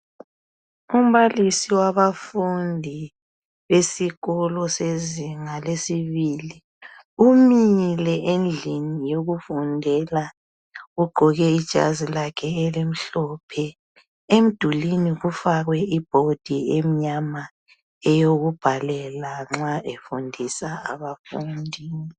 Umbalisi wabafundi esikolo sezinga lesibili umile endlini yokufundela ugqoke ijazi lakhe elimhlophe emdulwini kufakwe ibhodi emnyama eyokubhalela nxa efundisa abafundi.